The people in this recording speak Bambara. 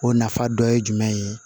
O nafa dɔ ye jumɛn ye